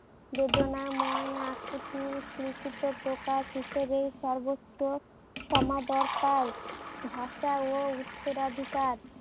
বেদনাময়য় আকুতির চিন্তিত প্রকাশ হিসেবে সর্বোচ্চ সমাদর পায়। ভাষা ও উত্তরাধিকার